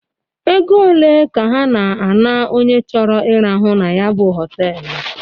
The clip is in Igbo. Ego olee ka ha na a na-onye choro irahụ na ya bụ họtelụ?